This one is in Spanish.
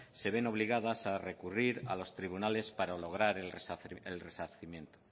se ven obligadas a recurrir a los tribunales para lograr el resarcimiento